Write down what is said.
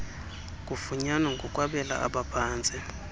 kufunyanwa ngokwabela abaphantsi